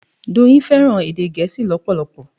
Doyin fẹràn èdè Gẹẹsi lòpòlòpò.